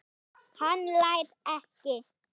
Hann hlær ekki.